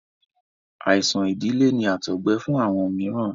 Àìsàn ìdílé ni àtọgbẹ fún àwọn mìíràn.